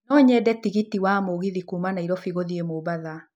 No nyende tigiti wa mũgithi kuuma nairobi gũthiĩ mombatha